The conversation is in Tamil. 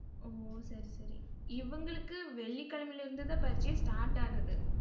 ஓ, சரி சரி இவங்களுக்கு வெள்ளிக்கிழமையில இருந்து தான் பரிட்சையே start ஆகுது.